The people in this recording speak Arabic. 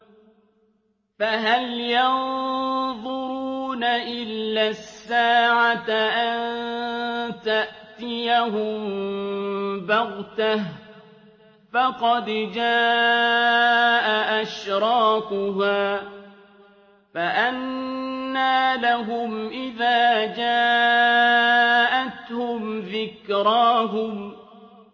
فَهَلْ يَنظُرُونَ إِلَّا السَّاعَةَ أَن تَأْتِيَهُم بَغْتَةً ۖ فَقَدْ جَاءَ أَشْرَاطُهَا ۚ فَأَنَّىٰ لَهُمْ إِذَا جَاءَتْهُمْ ذِكْرَاهُمْ